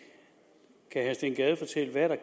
er herre steen gade fortælle hvad der